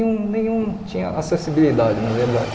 Nenhum nenhum tinha acessibilidade, na verdade.